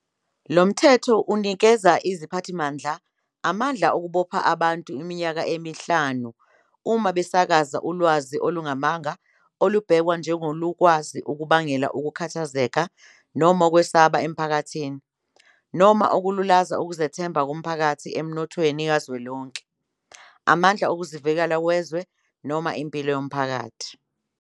Lo mthetho unikeza iziphathimandla amandla okubopha abantu iminyaka emihlanu uma besakaza ulwazi olungamanga olubhekwa njengolukwazi ukubangela ukukhathazeka noma ukwesaba emphakathini noma ukululaza ukuzethemba komphakathi emnothweni kazwelonke, amandla okuzivikela wezwe, noma impilo yomphakathi.